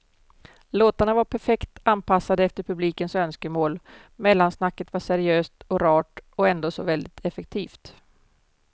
Låtarna var perfekt anpassade efter publikens önskemål, mellansnacket var seriöst och rart och ändå så väldigt effektivt.